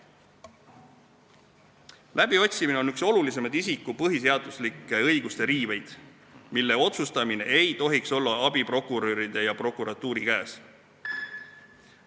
Läbiotsimine on üks olulisemaid isiku põhiseaduslike õiguste riiveid, mille otsustamine ei tohiks olla abiprokuröride ja prokuratuuri käes.